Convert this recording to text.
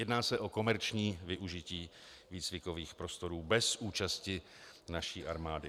Jedná se o komerční využití výcvikových prostorů bez účasti naší armády.